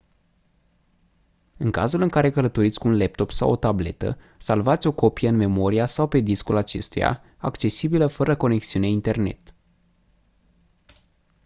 în cazul în care călătoriți cu un laptop sau o tabletă salvați o copie în memoria sau pe discul acestuia accesibilă fără conexiune internet